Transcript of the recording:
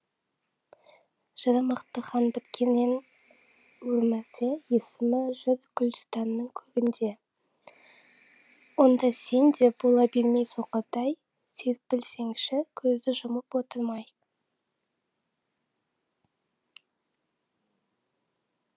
жыры мықты хан біткеннен өмірде есімі жүр гүлстанның көгінде онда сен де бола бермей соқырдай серпілсеңші көзді жұмып отырмай